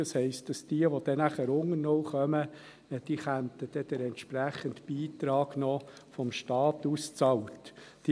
Das heisst, dass diejenigen, die dann unter null kommen, den entsprechenden Beitrag vom Staat ausbezahlt erhalten.